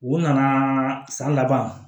U nana san laban